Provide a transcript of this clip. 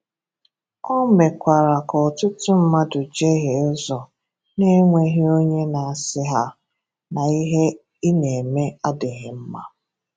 Ó mekwara ka ọtụtụ mmadụ jehie ụzọ na-enweghị onye na-asị ha na ihe ị na-eme adịghị mma.